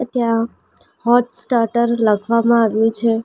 ત્યાં hot starter લખવામાં આવ્યું છે.